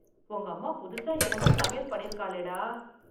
உங்கம்மா புதுசா என்னமோ சமையல் பண்ணிருக்காளேடா...